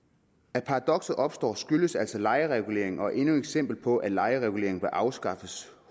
at paradokset opstår skyldes altså lejereguleringen og er endnu et eksempel på at lejeregulering bør afskaffes